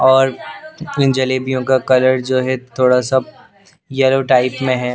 और इन जलेबियों का कलर जो है थोड़ा सा येलो टाइप में है।